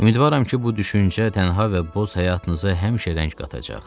Ümidvaram ki, bu düşüncə tənha və boz həyatınıza həmişə rəng qatacaq.